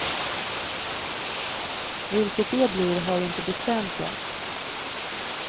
Vilket det blir har vi inte bestämt än.